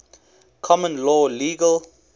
common law legal